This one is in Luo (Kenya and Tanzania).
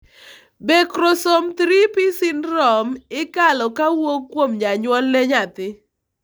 be chromosome 3p syndrome ikalo kawuok kuom janyuol ne nyathi